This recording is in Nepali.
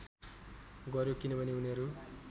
गर्‍यो किनभने उनीहरू